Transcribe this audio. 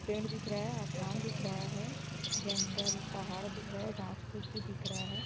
पेड़ दिख रहा है आसमान दिख रहा है जंगल पहाड़ दिख रहा है घास फूस भी दिख रहा है।